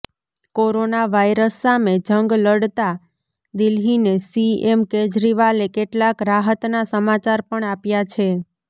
corona virus સામે જંગ લડતા દિલ્હીને સીએમ કેજરીવાલે કેટલાક રાહતના સમાચાર પણ આપ્યા છે